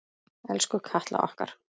Elsku Katla okkar.